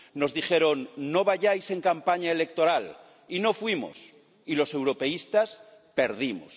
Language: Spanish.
Nos dijeron No vayáis en campaña electoral, y no fuimos, y los europeístas perdimos.